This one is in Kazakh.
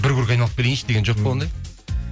бір круг айналып келейінші деген жоқ па ондай